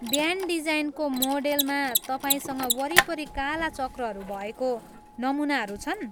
Band डिजाइनको मोडेलमा तपाईँसँग वरिपरि काला चक्रहरू भएको नमुनाहरू छन्?